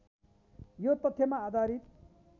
यो तथ्यमा आधारित